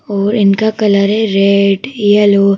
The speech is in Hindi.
और इनका कलर है रेड येलो ।